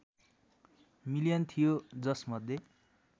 million थियो जसमध्ये